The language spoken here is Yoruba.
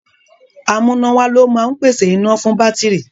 Amúnáwá ló máa ń pèsè iná fún bátìrì.